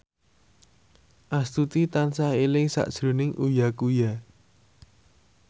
Astuti tansah eling sakjroning Uya Kuya